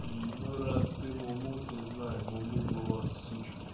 ну раз ты му му то знай му му была сучкой